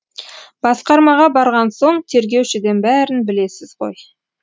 басқармаға барған соң тергеушіден бәрін білесіз ғой